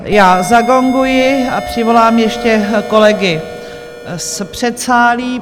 Já zagonguji a přivolám ještě kolegy z předsálí.